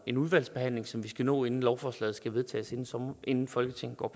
en udvalgsbehandling som vi skal nå inden lovforslaget skal vedtages inden folketinget går